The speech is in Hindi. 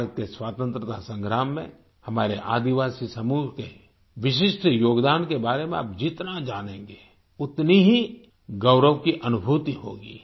भारत के स्वतंत्रता संग्राम में हमारे आदिवासी समूह के विशिष्ट योगदान के बारे में आप जितना जानेंगे उतनी ही गौरव की अनुभूति होगी